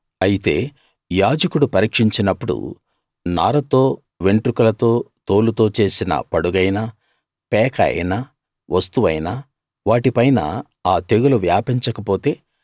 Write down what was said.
అయితే యాజకుడు పరీక్షించినప్పుడు నారతో వెంట్రుకలతో తోలుతో చేసిన పడుగైనా పేక అయినా వస్తువైనా వాటిపైన ఆ తెగులు వ్యాపించకపొతే